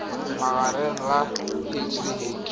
magareng ga h le h